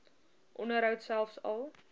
onderhoud selfs al